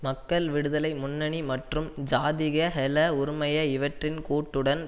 மக்கள் விடுதலை முன்னணி மற்றும் ஜாதிக ஹெல உறுமய இவற்றின் கூட்டுடன்